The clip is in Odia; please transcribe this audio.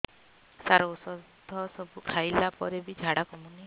ସାର ଔଷଧ ସବୁ ଖାଇଲା ପରେ ବି ଝାଡା କମୁନି